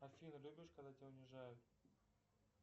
афина любишь когда тебя унижают